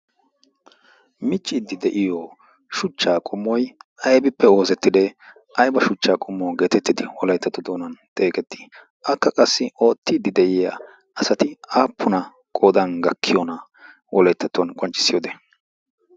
michchiiddi de'iyo shuchchaa qummoi abippe oozettidee aiba shuchchaa qummo geetettidi wolaettatu doonan xeeqettii akka qassi oottiiddi de'iya asati aappuna qodan gakkiyoona wolayttattuwan qonccissiyoode